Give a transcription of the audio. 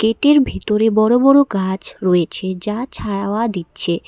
এটির ভিতরে বড় বড় গাছ রয়েছে যা ছাওয়া দিচ্ছে।